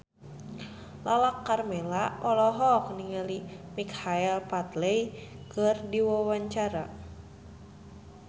Lala Karmela olohok ningali Michael Flatley keur diwawancara